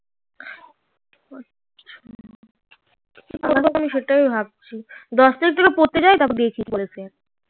দশ তারিক দিয়ে পড়তে যাই তারপর